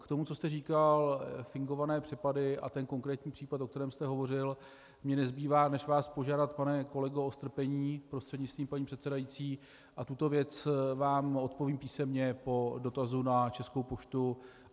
K tomu, co jste říkal, fingované přepady a ten konkrétní případ, o kterém jste hovořil, mně nezbývá, než vás požádat, pane kolego, o strpení, prostřednictvím paní předsedající, a tuto věc vám odpovím písemně po dotazu na Českou poštu.